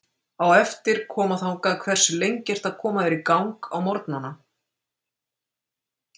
Á eftir að koma þangað Hversu lengi ertu að koma þér í gang á morgnanna?